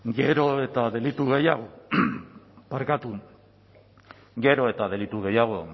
gero eta delitu gehiago barkatu gero eta delitu gehiago